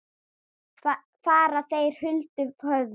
Fara þeir huldu höfði?